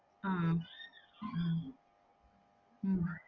உம் ah உம்